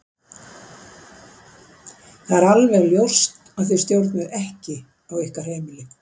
Það er alveg ljóst að þið stjórnið ekki á ykkar heimili.